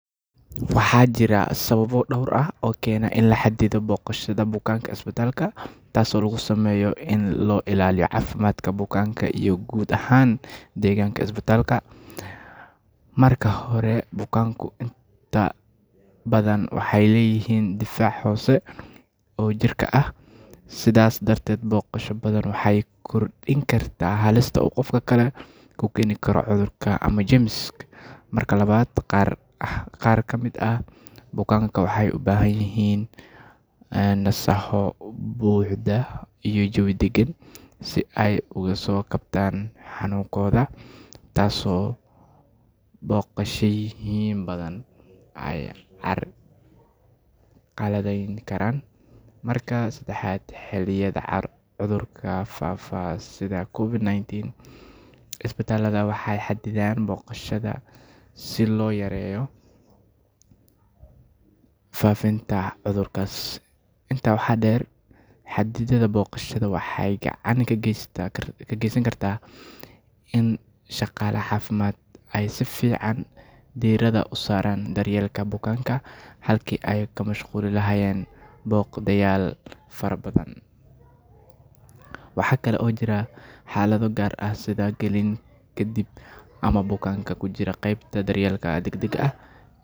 Waxaa jira sababo dhowr ah oo keena in la xadido booqashada bukaanada isbitaalka, taas oo loo sameeyo si loo ilaaliyo caafimaadka bukaanada iyo guud ahaan deegaanka isbitaalka. Marka hore, bukaanadu waxay leeyihiin difaac hoose oo jirka ah. Sidaas darteed, booqasho badan waxay kordhin kartaa halista qof kale uu ku keeni karo cudur ama jeermis. Marka labaad, qaar ka mid ah bukaanada waxay u baahan yihiin nasasho iyo jawi deggan si ay ugu soo kabsadaan xanuunkooda, taas oo booqashooyin badan ay carqaladeyn karaan. Marka saddexaad, xilliyada cudurrada faafaan sida COVID-19, isbitaalada waxay xaddidaan booqashada si loo yareeyo faafinta cudurkaas. Intaa waxaa dheer, xaddidaadda booqashada waxay gacan ka geysan kartaa in shaqaalaha caafimaadku ay si fiican diiradda u saaraan daryeelka bukaanada, halkii ay ku mashquuli lahaayeen booqdayaal badan. Waxaa jira xaalado gaar ah, sida bukaanada ku jira qeybta daryeelka degdegga ah.